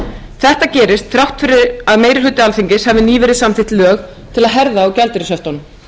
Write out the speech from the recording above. þetta gerist þrátt fyrir að meiri hluti alþingis hafi nýverið samþykkt lög til að herða á gjaldeyrishöftunum